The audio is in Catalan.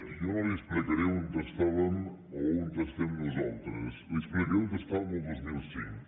jo no li explicaré on estàvem o on estem nosaltres li explicaré on estàvem el dos mil cinc